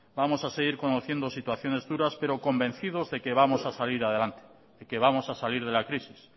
vamos a seguir conociendo situaciones duras pero convencidos de que vamos a salir adelante de que vamos a salir de la crisis